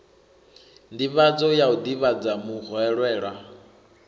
nḓivhadzo ya u ḓivhadza muhwelelwa